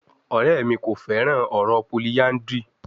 Ọrẹ mi ko fẹran ọrọ polyandry